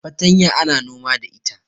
fatanya ana noma da ita